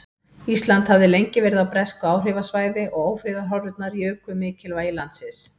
Ísland hafði lengi verið á bresku áhrifasvæði og ófriðarhorfurnar juku mikilvægi landsins.